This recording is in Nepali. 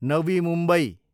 नवी मुम्बई